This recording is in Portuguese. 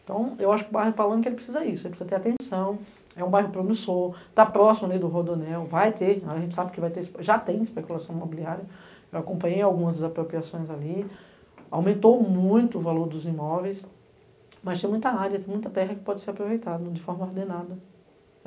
Então, eu acho que o bairro Palanque precisa disso, ele precisa ter atenção, é um bairro promissor, está próximo do Rodonel, vai ter, a gente sabe que vai ter, já tem especulação imobiliária, eu acompanhei algumas das apropriações ali, aumentou muito o valor dos imóveis, mas tem muita área, muita terra que pode ser aproveitada de forma ordenada.